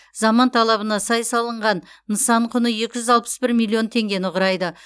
заман талабына сай салынған нысан құны екі жүз алпыс бір миллион теңгені құрайды